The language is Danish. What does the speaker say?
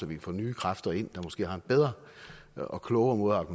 vi kan få nye kræfter ind der måske har en bedre og klogere måde